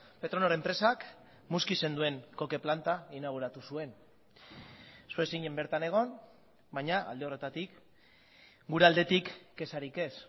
petronor enpresak muskizen duen coque planta inauguratu zuen zu ez zinen bertan egon baina alde horretatik gure aldetik kexarik ez